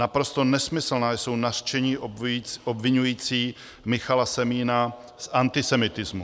Naprosto nesmyslná jsou nařčení obviňující Michala Semína z antisemitismu.